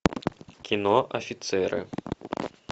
кино офицеры